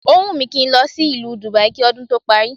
Ó wùn mí kí n lọ sí ìlú Dubai kí ọdún tó parí